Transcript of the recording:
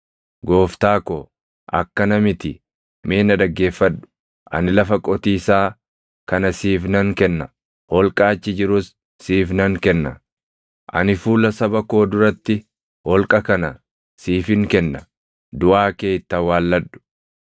“Gooftaa ko, akkana miti; mee na dhaggeeffadhu; ani lafa qotiisaa kana siif nan kenna; holqa achi jirus siif nan kenna; ani fuula saba koo duratti holqa kana siifin kenna; duʼaa kee itti awwaalladhu.”